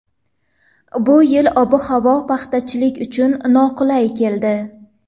Bu yilgi ob-havo paxtachilik uchun noqulay keldi.